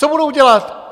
Co budou dělat?